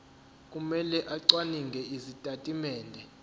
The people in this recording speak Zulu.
kumele acwaninge izitatimende